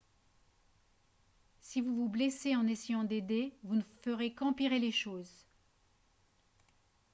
si vous vous blessez en essayant d'aider vous ne ferez qu'empirer les choses